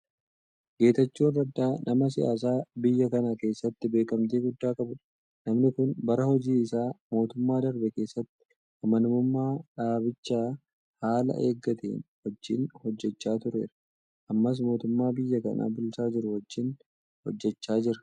Geetaachoon Raddaa nama siyaasaa biyya kana keessatti beekamtii guddaa qabudha. Namni kun bara hojii isaa mootummaa darbe keessatti amanamummaa dhaabichaa haala eeggateen wajjin hojjechaa tureera. Ammas mootummaa biyya kana bulchaa jiru wajjin hojjechaa jira.